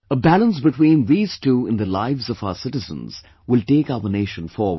A balance between these two in the lives of our citizens will take our nation forward